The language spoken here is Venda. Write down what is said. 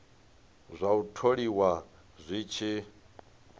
zwa u tholiwa zwi tshi